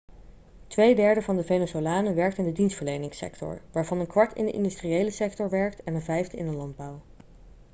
tweederde van de venezolanen werkt in de dienstverleningssector waarvan een kwart in de industriële sector werkt en een vijfde in de landbouw